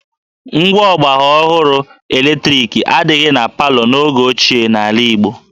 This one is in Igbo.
Ngwa ọgbaraọhụrụ eletriki adịghị na palọ n'oge ochie n'ala Igbo